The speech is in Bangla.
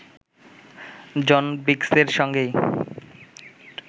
জন বিগসের সঙ্গেই